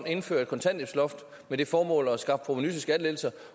indføre et kontanthjælpsloft med det formål at skaffe provenu til skattelettelser